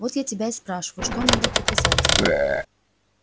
вот я тебя и спрашиваю что надо указать